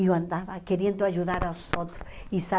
Eu andava querendo ajudar os outros. E sabe